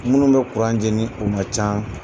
Minnu bɛ kuranceni, o ma ca